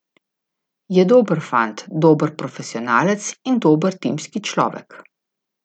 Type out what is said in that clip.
Je dober fant, dober profesionalec in dober timski človek.